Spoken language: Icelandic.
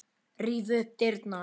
Ríf upp dyrnar.